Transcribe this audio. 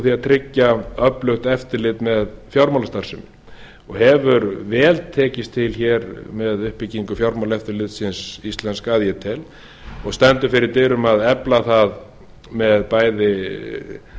að tryggja öflugt eftirlit með fjármálastarfsemi hefur vel tekist til með uppbyggingu fjármálaeftirlitsins íslensk að ég tel og stendur fyrir dyrum að efla það með bæði